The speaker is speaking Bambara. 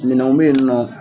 Minɛnw be yen nɔ.